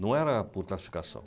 Não era por classificação.